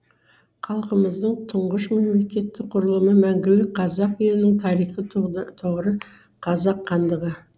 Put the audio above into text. халқымыздың тұңғыш мемлекеттік құрылымы мәңгілік қазақ елінің тарихи тұғыры қазақ хандығы